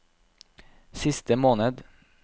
siste måned